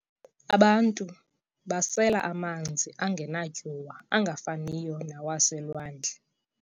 Abantu basela amanzi angenatyuwa angafaniyo nawaselwandle.